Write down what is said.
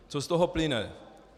Co z toho plyne?